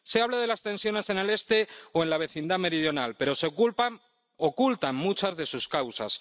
Se habla de las tensiones en el Este o en la vecindad meridional, pero se ocultan muchas de sus causas.